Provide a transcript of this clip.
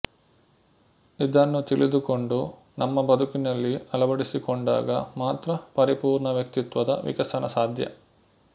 ಇದನ್ನು ತಿಳಿದುಕೊಂಡು ನಮ್ಮ ಬದುಕಿನಲ್ಲಿ ಅಳವಡಿಸಿಕೊಂಡಾಗ ಮಾತ್ರ ಪರಿಪೂರ್ಣ ವ್ಯಕ್ತಿತ್ವದ ವಿಕಸನ ಸಾಧ್ಯ